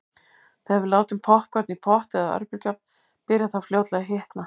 Þegar við látum poppkorn í pott eða örbylgjuofn byrjar það fljótlega að hitna.